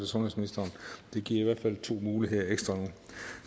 sundhedsministeren det giver i hvert fald to muligheder ekstra nu